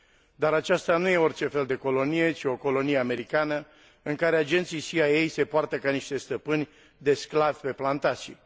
Dar aceasta nu este orice fel de colonie, ci o colonie americană în care agenții CIA se poartă ca niște stăpâni de sclavi pe plantație.